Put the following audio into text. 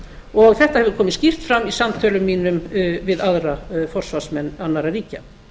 og þetta hefur komið skýrt fram í samtölum mínum við aðra forsvarsmenn annarra ríkja